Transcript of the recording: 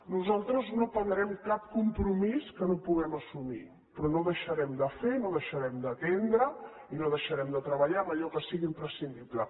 nosaltres no prendrem cap compromís que no puguem assumir però no deixarem de fer no deixarem d’atendre i no deixarem de treballar en allò que sigui imprescindible